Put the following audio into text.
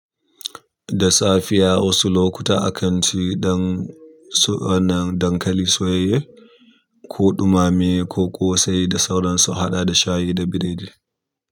Da safiya wasu lokuta akanci ɗan wannan dankali soyayye ko ɗumame ko ƙosai da sauransu a haɗa da shayi da biredi.